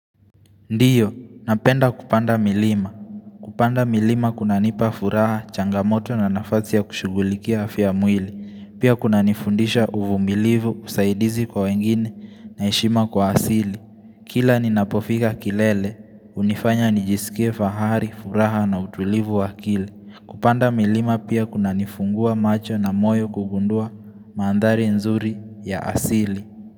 Ndiyo, napenda kupanda milima. Kupanda milima kunanipa furaha, changamoto na nafazi ya kushugulikia afya ya mwili. Pia kunanifundisha uvumilivu, usaidizi kwa wengine na heshima kwa asili. Kila ninapofika kilele, hunifanya nijisikia fahari, furaha na utulivu wakili. Kupanda milima pia kuna nifungua macho na moyo kugundua mandhari nzuri ya asili.